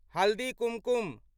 Haldi Kumkum